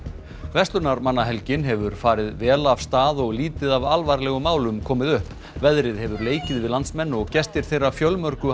verslunarmannahelgin hefur farið vel af stað og lítið af alvarlegum málum komið upp veðrið hefur leikið við landsmenn og gestir þeirra fjölmörgu